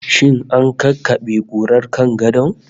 Shin an kakkabe kurar kan gadon?